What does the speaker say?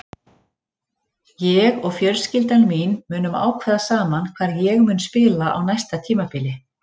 Ég og fjölskyldan mín munum ákveða saman hvar ég mun spila á næsta tímabili.